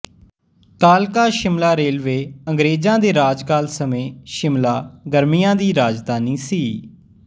ਕਾਲਕਾ ਸ਼ਿਮਲਾ ਰੇਲਵੇ ਅੰਗਰੇਜਾਂ ਦੇ ਰਾਜ ਕਾਲ ਸਮੇਂ ਸ਼ਿਮਲਾ ਗਰਮੀਆਂ ਦੀ ਰਾਜਧਾਨੀ ਸੀ